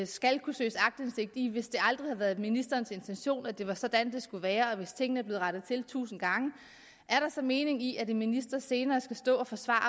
skal kunne søges aktindsigt i noget hvis det aldrig har været ministerens intention at det var sådan det skulle være og hvis tingene er blevet rettet til tusind gange er der så mening i at en minister senere skal stå og forsvare